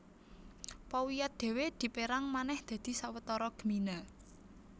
Powiat dhéwé dipérang manèh dadi sawetara gmina